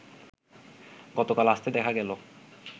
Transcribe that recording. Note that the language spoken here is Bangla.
গতকাল আসতে দেখা গেল